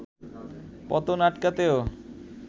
পতন আটকাতেও